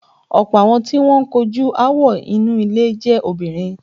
Ọ̀pọ̀ àwọn tí wọ́n ń kojú aáwọ̀ inú ilé jẹ́ obìrin.